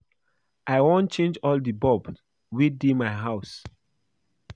I wan change all the bulb wey dey my house